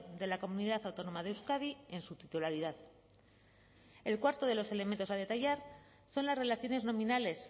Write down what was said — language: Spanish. de la comunidad autónoma de euskadi en su titularidad el cuarto de los elementos a detallar son las relaciones nominales